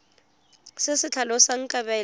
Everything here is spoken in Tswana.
se se tlhalosang kabelo ya